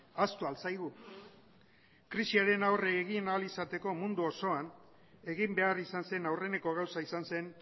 ahaztu al zaigu krisiari aurre egin ahal izateko mundu osoan egin behar izan zen aurreneko gauza izan zen